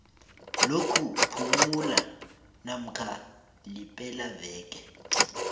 lokuphumula namkha lepelaveke